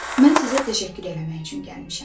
Mən sizə təşəkkür eləmək üçün gəlmişəm.